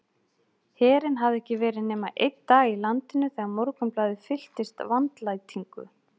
Herinn hafði ekki verið nema einn dag í landinu þegar Morgunblaðið fylltist vandlætingu.